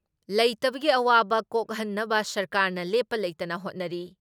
ꯂꯩꯇꯕꯗꯒꯤ ꯑꯋꯥꯕ ꯀꯣꯛꯍꯟꯅꯕ ꯁꯔꯀꯥꯔꯅ ꯂꯦꯞꯄ ꯂꯩꯇꯅ ꯍꯣꯠꯅꯔꯤ ꯫